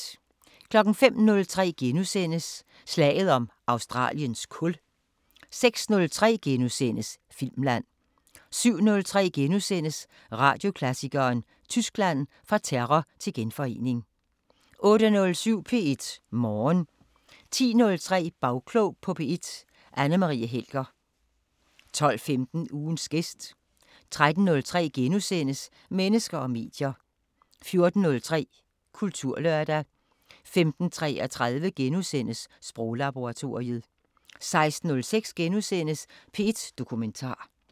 05:03: Slaget om Australiens kul * 06:03: Filmland * 07:03: Radioklassikeren: Tyskland – Fra terror til genforening * 08:07: P1 Morgen 10:03: Bagklog på P1: Anne Marie Helger 12:15: Ugens gæst 13:03: Mennesker og medier * 14:03: Kulturlørdag 15:33: Sproglaboratoriet * 16:03: P1 Dokumentar *